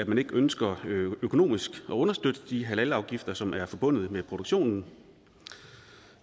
man ikke ønsker økonomisk at understøtte de halalafgifter som er forbundet med produktionen